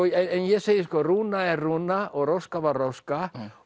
ég segi sko Rúna er Rúna og róska var róska